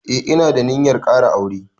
Eh ina da ninyar ƙara aure.